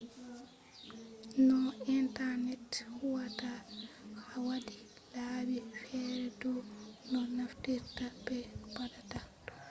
no intanet huwata waddi laabi fere dau no naftirta be no ɓattata ɗum